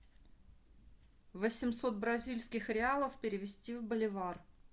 восемьсот бразильских реалов перевести в боливар